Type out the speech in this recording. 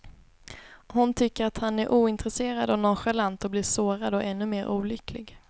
Hon tycker att han är ointresserad och nonchalant och blir sårad och ännu mer olycklig.